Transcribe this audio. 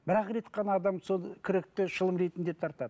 бір ақ рет қана адам сол кректі шылым ретінде тартады